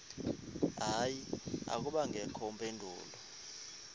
hayi akubangakho mpendulo